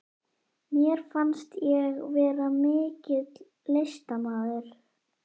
Mér fannst ég vera mikill listamaður.